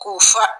K'u fa